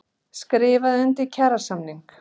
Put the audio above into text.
Skrifuðu undir kjarasamning